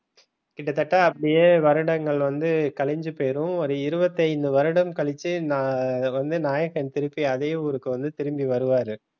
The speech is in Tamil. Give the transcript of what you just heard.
கிட்டத்தட்ட அப்படியே வருடங்கள் வந்து கலைஞ்சி போயிடும் ஒரு இருபத்தஞ்சி வருடம் கழித்து நான் வந்து நாயகன் திருப்பி அதே ஊருக்கு வந்து திரும்பி வருவாரு